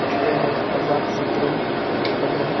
यह एक आजातशत्रु होटल है।